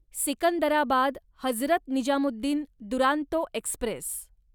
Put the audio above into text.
Secunderabad Hazrat Nizamuddin Duronto Express